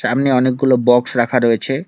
সামনে অনেকগুলো বক্স রাখা রয়েছে।